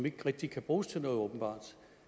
ikke rigtig kan bruges til noget